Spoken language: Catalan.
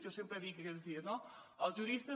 jo sempre ho dic aquests dies els juristes